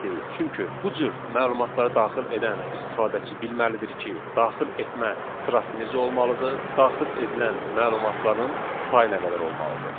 Çünki bu cür məlumatları daxil edən istifadəçi bilməlidir ki, daxil etmə sırası necə olmalıdır, daxil edilən məlumatların sayı nə qədər olmalıdır.